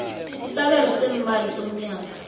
isabelo seemali somnyaka